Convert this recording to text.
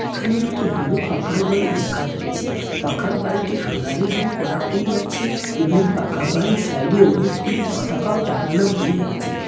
এখানে একটু বড় পাকার বাড়ি দেখা যাচ্ছে। পাকা বাড়িটি সোনালী রং করা হইয়াছি এবং পাকা বাড়ি সাইডে অনেকগুলি পতাকা ও টাঙানো হইয়াছে।